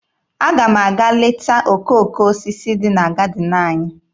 Aga m aga leta okooko osisi dị na gadịn anyị